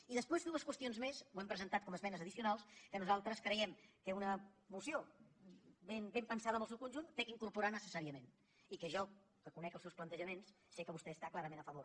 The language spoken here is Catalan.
i després dues qüestions més ho hem presentat com a esmenes addicionals que nosaltres creiem que una moció ben pensada en el seu conjunt ha d’incorporar necessàriament i que jo reconec els seus plantejaments sé que vostè hi està clarament a favor